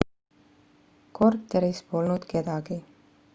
korteris polnud kedagi